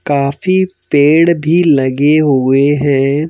काफी पेड़ भी लगे हुए हैं।